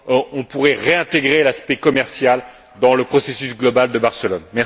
on pourrait réintégrer l'aspect commercial dans le processus global de Barcelone.